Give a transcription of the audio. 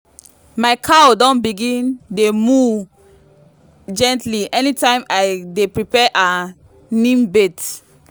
my cow don begin dey moo gently anytime i dey prepare her neem bath.